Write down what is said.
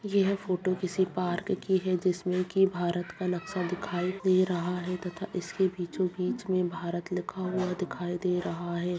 यह फोटो किसी पार्क की है जिसमें की भारत का नक्शा दिखाई दे रहा है तथा इसके बीचों-बीच में भारत लिखा हुआ दिखाई दे रहा है।